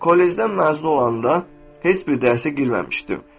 Kollecdən məzun olanda heç bir dərsə girməmişdim.